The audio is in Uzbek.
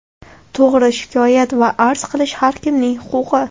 To‘g‘ri, shikoyat va arz qilish har kimning huquqi.